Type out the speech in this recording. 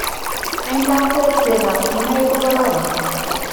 Eng' lakwet chekab kinaik kokoron